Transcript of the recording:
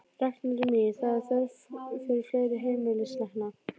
Ragnhildur mín, það er þörf fyrir fleiri heimilislækna.